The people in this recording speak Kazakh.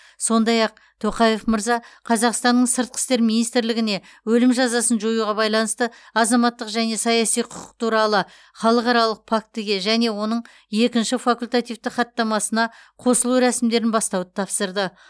сондай ақ тоқаев мырза қазақстанның сыртқы істер министрлігіне өлім жазасын жоюға байланысты азаматтық және саяси құқық туралы халықаралық фактіге және оның екінші факультативті хаттамасына қосылу рәсімдерін бастауды тапсырды